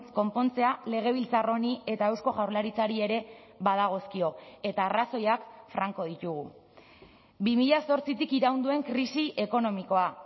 konpontzea legebiltzar honi eta eusko jaurlaritzari ere badagozkio eta arrazoiak franko ditugu bi mila zortzitik iraun duen krisi ekonomikoa